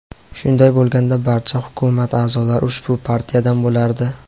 shunday bo‘lganda barcha hukumat a’zolari ushbu partiyadan bo‘lardi.